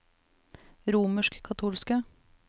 romerskkatolske